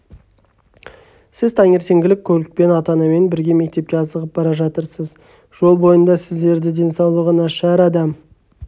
сіз таңертеңгілік көлікпен ата-анамен бірге мектепке асығып бара жатырсыз жол бойында сіздерді денсаулығы нашар адам